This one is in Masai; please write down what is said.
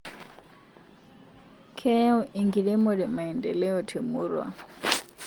Keyau enkiremore maendeleo temurua